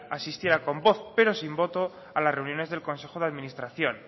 asistiera con voz pero sin voto a las reuniones del consejo de administración